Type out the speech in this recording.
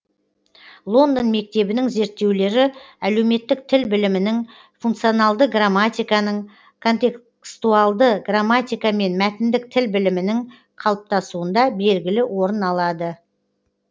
лондон мектебінің зерттеулері әлеуметтік тіл білімінің функционалды грамматиканың контекстуалды грамматика мен мәтіндік тіл білімінің қалыптасуында белгілі орын алады